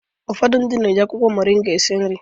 Ụfodu na-eji akwụkwọ moringa esi nri